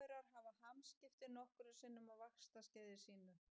Rykmaurar hafa hamskipti nokkrum sinnum á vaxtarskeiði sínu.